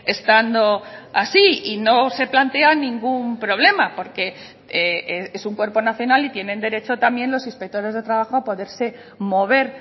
estando así y no se plantea ningún problema porque es un cuerpo nacional y tienen derecho también los inspectores de trabajo a poderse mover